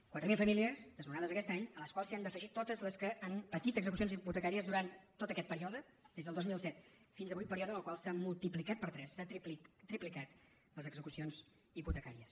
quatre mil famílies desnonades aquest any a les quals s’han d’afegir totes les que han patit execucions hipotecàries durant tot aquest període des del dos mil set fins avui període en el qual s’han multiplicat per tres s’han triplicat les execucions hipotecàries